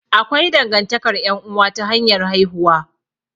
Akwai dangantakar ƴan'uwa ta hanyar haihuwa.